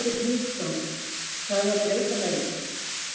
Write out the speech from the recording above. Hafsteinn Hauksson: Þarf að breyta þeim?